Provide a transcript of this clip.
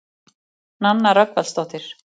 Nanna Rögnvaldsdóttir.